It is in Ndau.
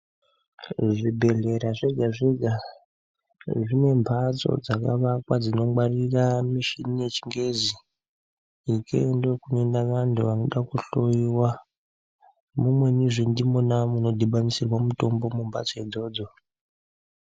Zvibhedhlera zvega zvega zvine mbatso dzakavakwa dzinongaririra mishini yechingezi ikeyo ndiko kunoenda vantu vanoda kuhloyiwa mumwenizve ndimona munodhibanisirwa mutombo mumbatso idzodzo.